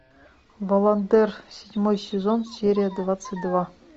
баландер седьмой сезон серия двадцать два